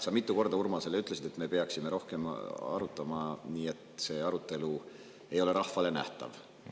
Sa ütlesid Urmasele mitu korda, et me peaksime rohkem arutama nii, et arutelu ei ole rahvale nähtav.